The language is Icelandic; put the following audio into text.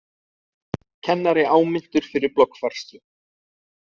Kennari áminntur fyrir bloggfærslu